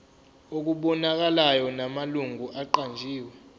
okubonakalayo namalungu aqanjiwe